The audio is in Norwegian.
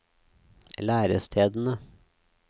lærestedene